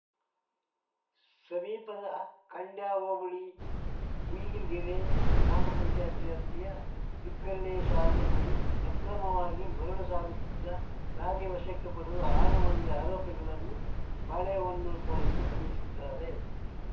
ಸಮೀಪದ ಖಾಂಡ್ಯ ಹೋಬಳಿ ಹುಯಿಲ್ಗೆರೆ ಗ್ರಾಮ ಪಂಚಾಯ್ತಿ ವ್ಯಾಪ್ತಿಯ ಬಿಕ್ಕರಣೆ ಶಾಲೆ ಬಳಿ ಅಕ್ರಮವಾಗಿ ಮರಳು ಸಾಗಿಸುತ್ತಿದ್ದ ಲಾರಿ ವಶಕ್ಕೆ ಪಡೆದು ಆರು ಮಂದಿ ಆರೋಪಿಗಳನ್ನು ಬಾಳೆಹೊನ್ನೂರು ಪೊಲೀಸರು ಬಂಧಿಸಿದ್ದಾರೆ